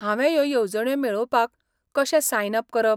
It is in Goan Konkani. हांवें ह्यो येवजण्यो मेळोवपाक कशें सायन अप करप?